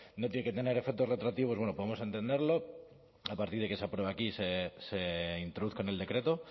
no tiene que tener efectos retroactivos bueno podemos entenderlo a partir de que se apruebe aquí y se introduzca en el decreto